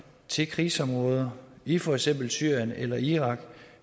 til krigsområder i for eksempel syrien eller irak